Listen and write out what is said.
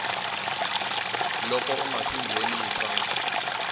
loko u nga si nghenisa